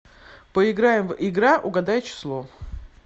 поиграем в игра угадай число